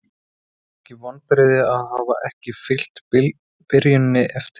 Eru ekki vonbrigði að hafa ekki fylgt byrjuninni eftir?